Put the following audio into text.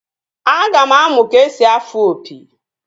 Aga m amụ ka-esi afụ opi